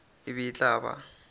e be e tla ba